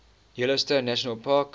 yellowstone national park